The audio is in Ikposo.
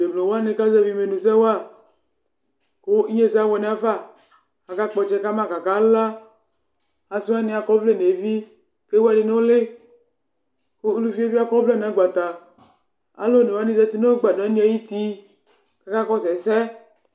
Temlo wani kazɛvi imenu sɛ waku inyesɛ abuɛ nafa kakakpɔ ɔtsɛ kama kakala asiwani akɔ ɔvlɛ nevi ku ewu ɛkuɛdi nu uli ku uluvie bi akɔ ɔvlɛ nu agbata alu onewani zati nu agbadɔ ayu uti kakakɔsu ɛsɛ